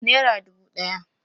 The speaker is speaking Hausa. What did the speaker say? Nera dubu ɗaya